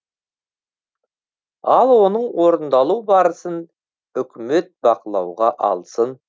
ал оның орындалу барысын үкімет бақылауға алсын